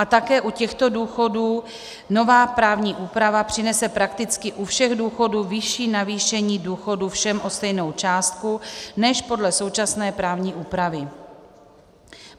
A také u těchto důchodů nová právní úprava přinese prakticky u všech důchodů vyšší navýšení důchodů všem o stejnou částku než podle současné právní úpravy.